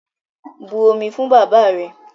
But omi fún bàbáà rẹ!